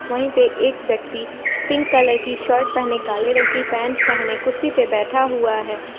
वहीं पे एक व्यक्ति पिंक कलर की शर्ट पहने काले रंग की पैंट पहने कुर्सी पे बैठा हुआ है।